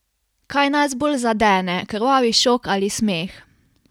Kaj nas bolj zadene, krvavi šok ali smeh?